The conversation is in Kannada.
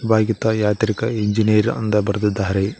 ವಿಭಾಗೀತ ಯಾಂತ್ರಿಕ ಇಂಜಿನಿಯರ್ ಅಂದ ಬರೆದಿದ್ದಾರೆ.